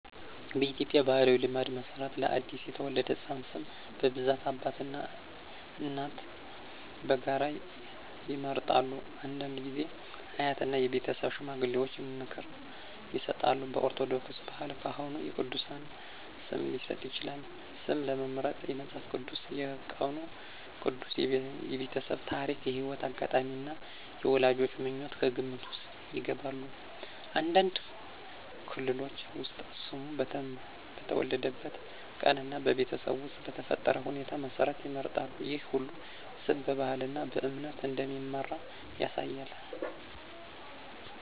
በኢትዮጵያ ባሕላዊ ልማድ መሠረት ለአዲስ የተወለደ ሕፃን ስም በብዛት አባትና እናት በጋራ ይመርጣሉ። አንዳንድ ጊዜ አያትና የቤተሰብ ሽማግሌዎች ምክር ይሰጣሉ። በኦርቶዶክስ ባህል ካህኑ የቅዱሳን ስም ሊሰጥ ይችላል። ስም ለመምረጥ መጽሐፍ ቅዱስ፣ የቀኑ ቅዱስ፣ የቤተሰብ ታሪክ፣ የሕይወት አጋጣሚ እና የወላጆች ምኞት ከግምት ውስጥ ይገባሉ። አንዳንድ ክልሎች ውስጥ ስሙ በተወለደበት ቀን እና በቤተሰብ ውስጥ በተፈጠረ ሁኔታ መሠረት ይመረጣል። ይህ ሁሉ ስም በባህልና በእምነት እንደሚመራ ያሳያል።